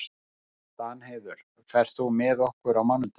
Danheiður, ferð þú með okkur á mánudaginn?